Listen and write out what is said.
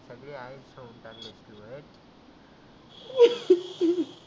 सगळी आई झवुन टाकली तु व्हय.